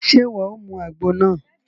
Ṣe iwọ o mú àgbo náà?